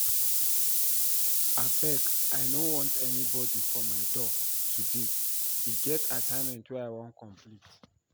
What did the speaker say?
Abeg I no want anybody for my door today, e get dis assignment I wan complete